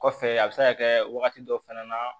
Kɔfɛ a bɛ se ka kɛ wagati dɔ fana na